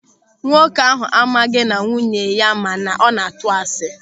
Nwoke ahụ amaghị na nwunye ya ma na ọ na-atụ asị.